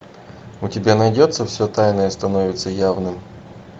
у тебя найдется все тайное становится явным